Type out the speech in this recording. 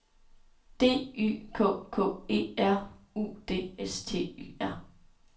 D Y K K E R U D S T Y R